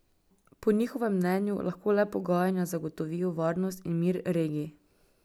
Po njihovem mnenju lahko le pogajanja zagotovijo varnost in mir regiji.